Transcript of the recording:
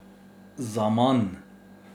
Zaman.